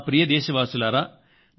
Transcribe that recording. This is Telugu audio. నా ప్రియమైన నాదేశవాసుల్లారా